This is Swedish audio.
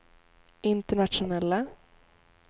internationella